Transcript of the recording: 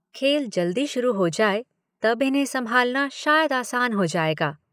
खेल जल्दी शुरू हो जाए तब इन्हें संभालना शायद आसान हो जाएगा।